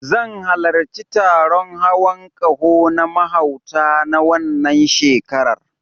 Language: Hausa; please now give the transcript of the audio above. Zan halarci taron hawon ƙaho na mahauta, na wannan shekarar.